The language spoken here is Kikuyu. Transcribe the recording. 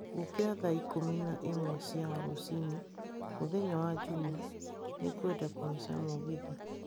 Njũkĩra thaa ikũmi na ĩmwe cia rũcinĩ mũthenya wa Jumaa. Nĩngwenda kũhaica mũgithi.